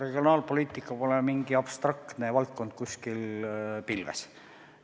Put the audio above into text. Regionaalpoliitika pole mingi abstraktne valdkond, kuskil pilves.